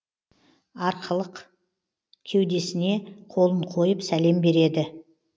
арқылық кеудесіне қолын қойып сәлем береді